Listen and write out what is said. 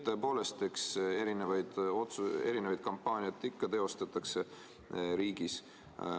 Tõepoolest, eks erinevaid kampaaniaid ikka teostatakse riigis.